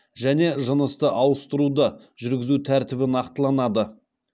және жынысты ауыстыруды жүргізу тәртібі нақтыланады